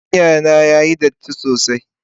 fartanya na yayi datti sosai.